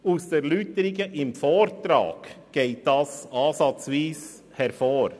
Aus den Erläuterungen im Vortrag geht dies ansatzweise hervor.